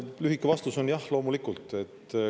Lühike vastus on jah, loomulikult.